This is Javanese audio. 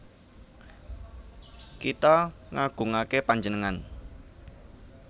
Kita ngagungaké panjenengan